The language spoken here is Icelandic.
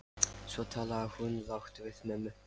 Svo talaði hún lágt við mömmu.